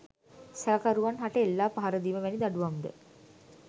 සැකකරුවන් හට එල්ලා පහරදීම වැනි දඬුවම්ද